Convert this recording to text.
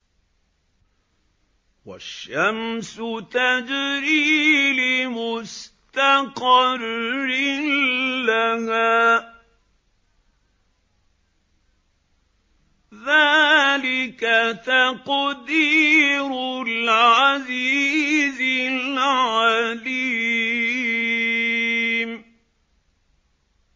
وَالشَّمْسُ تَجْرِي لِمُسْتَقَرٍّ لَّهَا ۚ ذَٰلِكَ تَقْدِيرُ الْعَزِيزِ الْعَلِيمِ